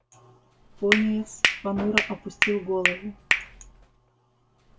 пониетс понуро опустил голову